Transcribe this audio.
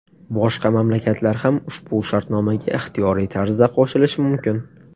Boshqa mamlakatlar ham ushbu shartnomaga ixtiyoriy tarzda qo‘shilishi mumkin.